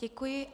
Děkuji.